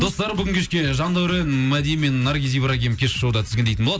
достар бүгін кешке жандәурен мади мен наргиз ибрагим кешкі шоуда тізгіндейтін болады